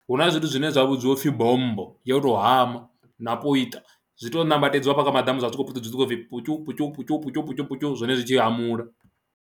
Hu na zwithu zwine zwa vhudziwa u pfhi bommbo yo tou hama na poiṱa zwi tou nambatedziwa hafha kha maḓamu zwa vha zwi khou puṱedziwa zwi khou sokou pfhi puṱshu puṱshu puṱshu zwone zwi tshi hamula.